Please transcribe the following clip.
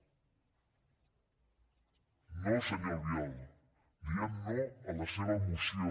no senyor albiol diem no a la seva moció